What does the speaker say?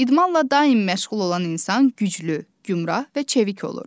İdmanla daim məşğul olan insan güclü, gümrah və çevik olur.